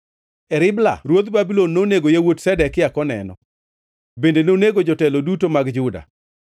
E Ribla ruodh Babulon nonego yawuot Zedekia koneno; bende nonego jotelo duto mag Juda.